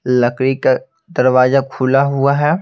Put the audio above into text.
लकड़ी का दरवाजा खुला हुआ है।